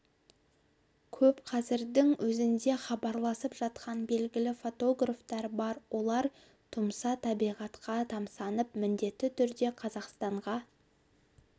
көп қазірдің өзінде хабарласып жатқан белгілі фотографтар бар олар тұмса табиғатқа тамсанып міндетті түрде қазақстанға